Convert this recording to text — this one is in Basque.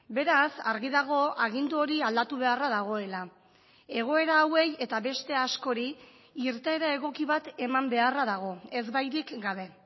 beraz argi dago agindu hori aldatu beharra dagoela egoera hauei eta beste askori irteera egoki bat eman beharra dago ezbairik gabe